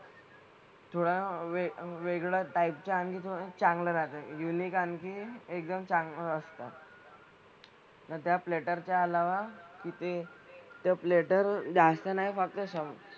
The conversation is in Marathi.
थोड्या वेग वेगळ्या टाईप च्या आणि थोड्या चांगल्या राहतात. युनिक आणि एकदम चांगलं असतं. तर त्या प्लेटरच्या अलावा तिथे त्या प्लेटर जास्त नाही वापरू शकत.